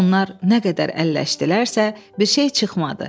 Onlar nə qədər əlləşdilərsə, bir şey çıxmadı.